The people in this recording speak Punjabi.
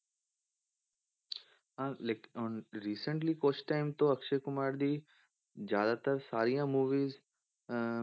ਹਾਂ ਲੇਕਿੰਨ ਹੁਣ recently ਕੁਛ time ਤੋਂ ਅਕਸ਼ੇ ਕੁਮਾਰ ਦੀ ਜ਼ਿਆਦਾਤਰ ਸਾਰੀਆਂ movies ਅਹ